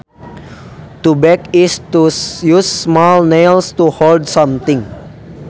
To tack is to use small nails to hold something